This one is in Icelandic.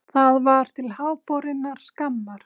Það var til háborinnar skammar.